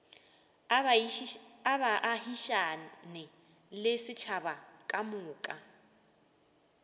a baagišane le setšhaba kamoka